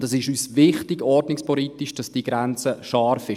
Dass diese Grenze scharf ist, ist uns ordnungspolitisch wichtig.